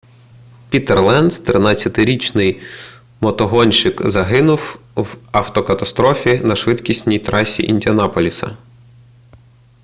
пітер ленц 13-річний мотогонщик загинув в автокатастрофі на швидкісній трасі індіанаполіса